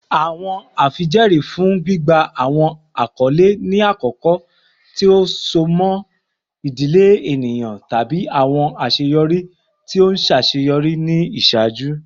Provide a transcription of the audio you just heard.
Awọn afijẹẹri fun gbigba awọn akọle ni akọkọ ti so mọ idile eniyan tabi awọn aṣeyọri ti o ṣaṣeyọri ni iṣaaju.